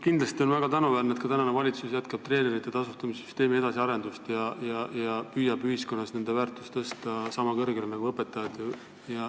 Kindlasti on väga tänuväärne, kui praegune valitsus jätkab treenerite tasustamise süsteemi edasiarendust ja püüab ühiskonnas nende väärtust tõsta sama kõrgele nagu õpetajatel.